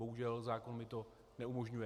Bohužel, zákon mi to neumožňuje.